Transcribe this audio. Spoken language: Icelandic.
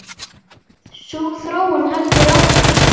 Sú þróun heldur áfram.